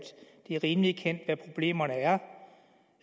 det er rimelig kendt hvad problemerne er